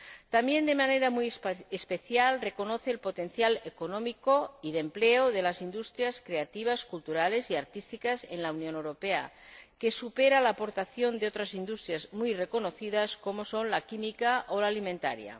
También, de manera muy especial, reconoce el potencial económico y de empleo de las industrias creativas, culturales y artísticas en la Unión Europea, que supera la aportación de otras industrias muy reconocidas, como son la química o la alimentaria.